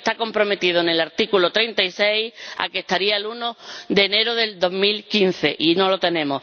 se comprometieron en el artículo 36 a que estaría el 1 de enero del 2015, y no lo tenemos.